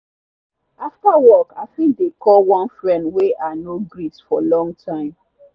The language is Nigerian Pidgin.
after work i fit dey call one friend wey i no greet for long time.